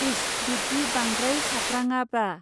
इस बिब्दि बांद्राय सात्राङाब्रा.